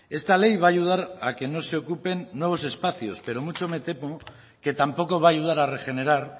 esta ley va a ayudar a que no se ocupen nuevos espacios pero mucho me temo que tampoco va a ayudar a regenerar